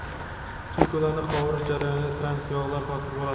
Chunki ularni qovurish jarayonida trans-yog‘lar hosil bo‘ladi.